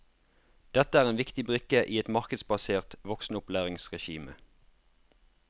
Dette er en viktig brikke i et markedsbasert voksenopplæringsregime.